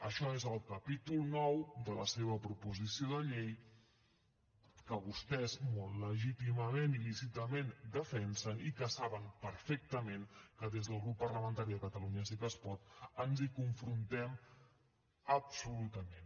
això és el capítol ix de la seva proposició de llei que vostès molt legítimament i lícitament defensen i que saben perfectament que des del grup parlamentari de catalunya sí que es pot ens hi confrontem absolutament